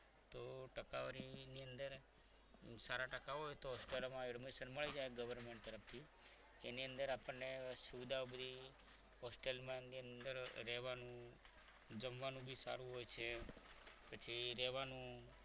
સારા ટકા હોય તો અત્યારે admission મળી જાય government તરફથી એની અંદર આપણને સુવિધાઓ બધી hostel માં એમની અંદર રહેવાનું જમવાનું પણ સારું હોય છે પછી રહેવાનું